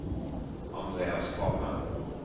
Andreas Kvamme